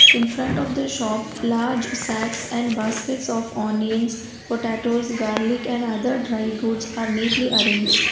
in front of the shop large sacks and baskets of onions potatoes garlic and other dry goods are neatly arranged.